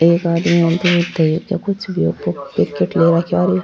एक आदमी तेल के कुछ पैकेट ले राखा है और एक --